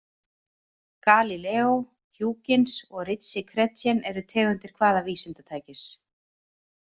Galíleó, Huygens og Ritchey-Chrétien eru tegundir hvaða vísindatækis?